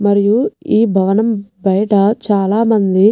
మరియు ఈ భవనం బయట చాలా మంది --